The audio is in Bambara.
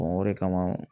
o de kama